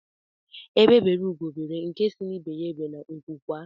Egbe beru Ugo beru nke si ibe ya ebene nku kwaa